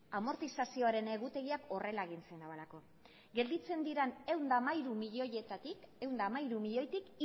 amortizazioren egutegiak horrela egin agintzen duelako gelditzen diren ehun eta hamairu milioitik